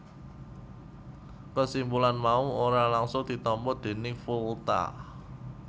Kesimpulan mau ora langgsung ditampa déning Volta